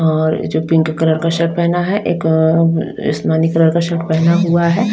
और जो pink colour का शर्ट पहना है एक अ आसमानी कलर का शर्ट पहना है।